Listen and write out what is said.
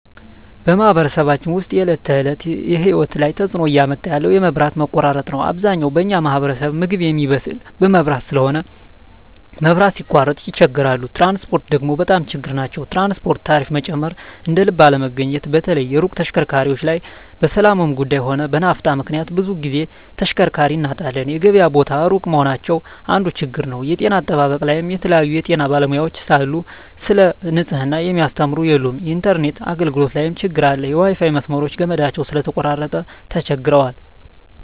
በማኅበረሰባችን ውስጥ የሰዎች የዕለት ተእለት ህይወት ላይ ትጽእኖ እያመጣ ያለው የመብት መቆራረጥ ነዉ አብዛኛው በኛ ማህበረሰብ ምግብ ሚያበስል በመብራት ስለሆነ መብራት ሲቃረጥ ይቸገራሉ ትራንስፖርት ደግሞ በጣም ችግር ናቸዉ የትራንስፖርት ታሪፋ መጨመር እደልብ አለመገኘት በተለይ የሩቅ ተሽከርካሪዎች ላይ በሠላሙም ጉዱይ ሆነ በናፍጣ ምክንያት ብዙ ግዜ ተሽከርካሪ እናጣለን የገበያ ቦታ እሩቅ መሆናቸው አንዱ ችግር ነዉ የጤና አጠባበቅ ላይም የተለያዩ የጤና ባለሙያዎች ስለሉ ሰለ ንጽሕና ሚያስተምሩ የሉም የኢንተርነት አገልግሎት ላይም ትግር አለ የዋይፋይ መስመሮች ገመዳቸው ስለተቆራረጠ ተቸግረዋል